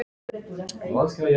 Nei, takk, amma mín.